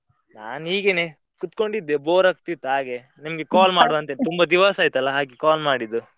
ನಾನ್ ಹೀಗೆನೆ ಕೂತ್ಕೊಂಡಿದ್ದೆ bore ಆಗ್ತಿತ್ತು ಹಾಗೆ ನಿಮ್ಗೆ call ಮಾಡುವಾ ಅಂತಾ ತುಂಬಾ ದಿವಸಾ ಆಯ್ತ ಅಲ್ಲಾ ಹಾಗೆ call ಮಾಡಿದ್ದು.